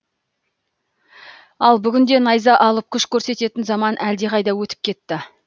ал бүгінде найза алып күш көрсететін заман әлде қайда өтіп кетті